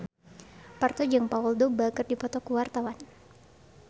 Parto jeung Paul Dogba keur dipoto ku wartawan